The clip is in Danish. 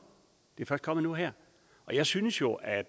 et kommet nu her og jeg synes jo at